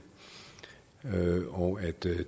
og at det er